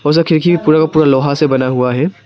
वो सब खिड़की पूरा का पूरा लोहा से बना हुआ है।